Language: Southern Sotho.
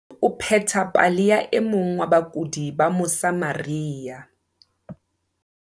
Harrison o pheta pale ya e mong wa bakudi ba Mosa maria.